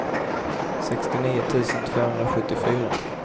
sextionio tusen tvåhundrasjuttiofyra